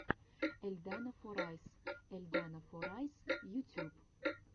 эльдана форайс эльдана форайс ютюб